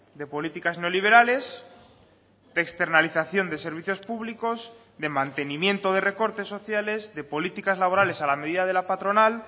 de políticas no liberales externalización de servicios públicos de mantenimiento de recortes sociales de políticas laborales a la medida de la patronal